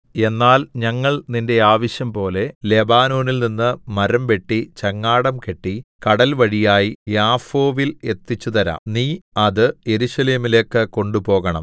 എന്നാൽ ഞങ്ങൾ നിന്റെ ആവശ്യംപോലെ ലെബാനോനിൽനിന്നു മരംവെട്ടി ചങ്ങാടം കെട്ടി കടൽവഴിയായി യാഫോവിൽ എത്തിച്ചുതരാം നീ അത് യെരൂശലേമിലേക്കു കൊണ്ടുപോകണം